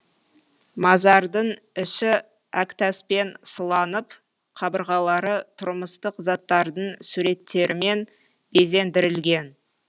мазардың іші әктаспен сыланып қабырғалары тұрмыстық заттардың суреттерімен безендірілген